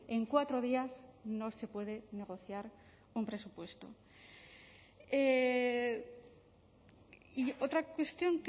en cuatro días no se puede negociar un presupuesto y otra cuestión